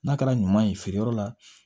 N'a kɛra ɲuman ye feereyɔrɔ la